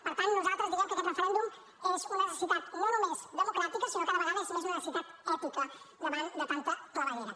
per tant nosaltres diem que aquest referèndum és una necessitat no només democràtica sinó que cada vegada és més una necessitat ètica davant de tanta claveguera